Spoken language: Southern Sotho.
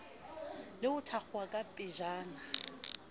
le ho thakgola ka pejana